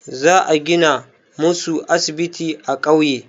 Za a gina musu asibiti a ƙauye.